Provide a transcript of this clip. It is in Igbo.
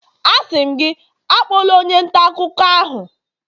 Asị m gị, akpọla onye nta akụkọ ahụ!